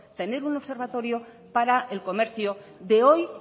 tener un observatorio para el comercio de hoy